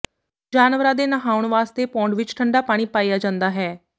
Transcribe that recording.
ਜਾਨਵਰਾਂ ਦੇ ਨਹਾਉਣ ਵਾਸਤੇ ਪੌਂਡ ਵਿੱਚ ਠੰਢਾ ਪਾਣੀ ਪਾਇਆ ਜਾਂਦਾ ਹੈ